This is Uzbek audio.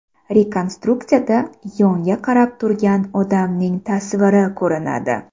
Rekonstruksiyada yonga qarab turgan odamning tasviri ko‘rinadi.